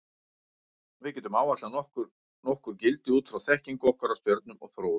Við getum áætlað nokkur gildi út frá þekkingu okkar á stjörnum og þróun þeirra.